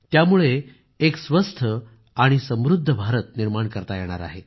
त्यामुळे एक स्वस्थ आणि समृद्ध भारताचे नाते निर्माण करता येणार आहे